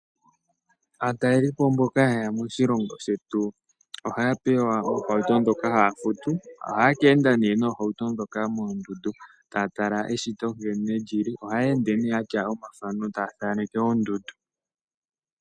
Aatalelipo mboka ha yeya moshilongo shetu ohaya pewa oohauto dhoka haya futu. Ohaya ka enda ne noohauto dhoka moondundu, taya tala nkene eshito lili. Ohaya ende yatya omathano taya thaneke oondundu.